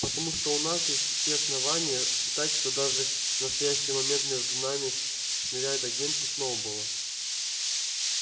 потому что у нас есть все основания считать что даже в настоящий момент между нами шныряют агенты сноуболла